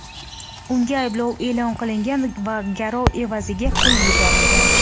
Unga ayblov e’lon qilingan va garov evaziga qo‘yib yuborilgan.